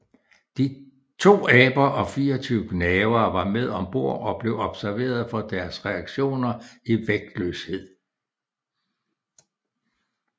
To aber og 24 gnavere var med om bord og blev observeret for deres reaktioner i vægtløshed